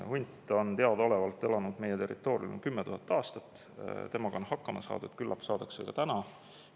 Hunt on teadaolevalt elanud meie territooriumil 10 000 aastat, temaga on hakkama saadud, küllap saadakse ka täna.